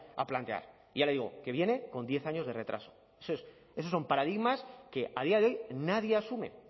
a plantear ya le digo que viene con diez años de retraso esos son paradigmas que a día de hoy nadie asume